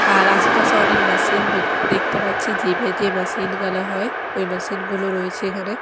আর আশেপাশে অনেক মেশিন দেখতে পাচ্ছি যে বে মেশিন গালা হয় ওই মেশিন -গুলো রয়েছে এখানে।